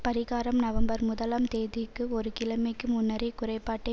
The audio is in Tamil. பரிகாரம் நவம்பர் முதலாம் தேதிக்கு ஒரு கிழமைக்கு முன்னரே குறைபாட்டை